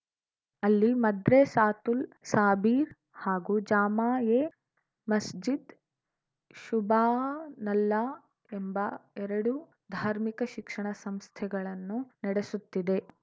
ಅಲ್ಲಿ ಮದ್ರೆಸ್ಸಾತುಲ್‌ ಸಾಬೀರ್‌ ಹಾಗೂ ಜಾಮಾ ಎ ಮಸ್ಜಿದ್‌ ಶುಭಾನಲ್ಲಾ ಎಂಬ ಎರಡು ಧಾರ್ಮಿಕ ಶಿಕ್ಷಣ ಸಂಸ್ಥೆಗಳನ್ನು ನಡೆಸುತ್ತಿದೆ